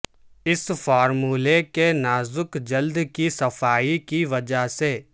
اس فارمولے کے نازک جلد کی صفائی کی وجہ سے